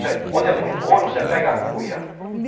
Quando é muito ouro, você pega a cuia.